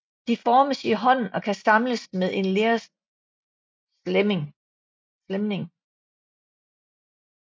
De formes i hånden og kan samles med en lerslæmning